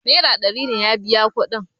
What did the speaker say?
naira ɗari ne ya biya kudin